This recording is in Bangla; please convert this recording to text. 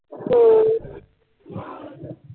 হম